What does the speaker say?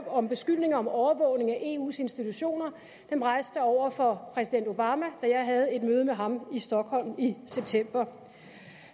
om beskyldning om overvågning af eus institutioner over for præsident obama da jeg havde et møde med ham i stockholm i september